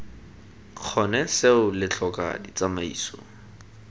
kgone seo lo tlhoka ditsamaiso